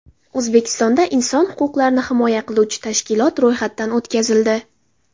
O‘zbekistonda inson huquqlarini himoya qiluvchi tashkilot ro‘yxatdan o‘tkazildi.